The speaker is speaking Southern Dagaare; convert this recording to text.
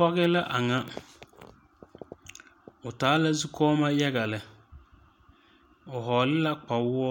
Pɔge la a nyɛ,o taa la zukɔɔmɔ yaga lɛ,o vɔgle la kpawuo